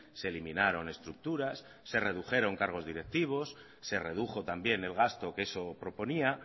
se eliminaron estructuras se redujeron cargos directivos se redujo también el gasto que eso proponía